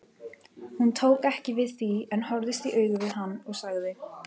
Hún tók ekki við því en horfðist í augu við hann og sagði